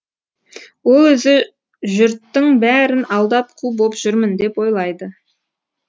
ол өзі жүрттың бәрін алдап қу боп жүрмін деп ойлайды